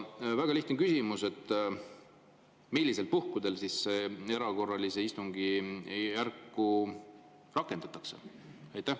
Väga lihtne küsimus: millistel puhkudel seda erakorralist istungjärku rakendatakse?